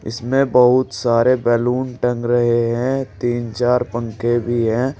इसमें बहुत सारे बैलून टंग रहे हैं तीन चार पंखे भी है।